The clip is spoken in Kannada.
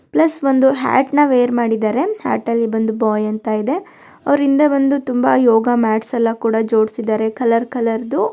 ಪ್ಲಸ್ ಒಂದು ಹಾಟ್ ನ ವೇರ್ ಮಾಡಿದರೆ ಹಾಟ್ ಅಲ್ಲಿ ಬಂದು ಬಾಯ್ ಅಂತ ಇದೆ. ಅವರಿಂದೆ ಬಂದು ತುಂಬಾ ಯೋಗ ಮ್ಯಾಟ್ಸ ಎಲ್ಲಾ ಕೂಡ ಜೋಡಿಸಿದ್ದಾರೆ ಕಲರ್ ಕಲರ್ ದು.